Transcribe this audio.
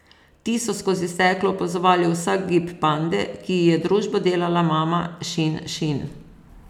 Ti so skozi steklo opazovali vsak gib pande, ki ji je družbo delala mama Šin Šin.